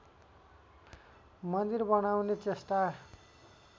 मन्दिर बनाउने चेष्टा